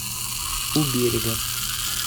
у берега